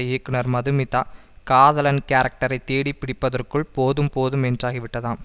இயக்குனர் மதுமிதா காதலன் கேரக்டரை தேடி பிடிப்பதற்குள் போதும் போதும் என்றாகிவிட்டதாம்